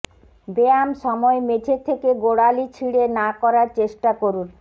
ব্যায়াম সময় মেঝে থেকে গোড়ালি ছিঁড়ে না করার চেষ্টা করুন